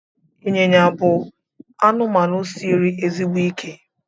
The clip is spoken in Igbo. ịnyịnya bụ anụmanụ siri ezigbo ike